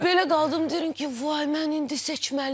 Belə qaldım, deyirəm ki, vay, mən indi seçməliyəm.